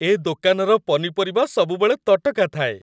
ଏ ଦୋକାନର ପନିପରିବା ସବୁବେଳେ ତଟକା ଥାଏ ।